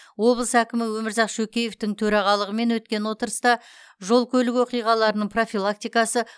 облыс әкімі өмірзақ шөкеевтің төрағалығымен өткен отырыста жол көлік оқиғаларының профилактикасы